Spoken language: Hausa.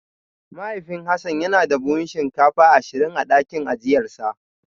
Mahaifin Hassan yana da buhunan shinkafa ashirin a dakin ajiyarsa